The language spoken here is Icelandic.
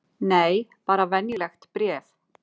Nei, bara venjulegt bréf.